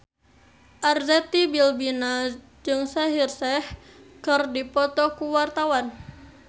Arzetti Bilbina jeung Shaheer Sheikh keur dipoto ku wartawan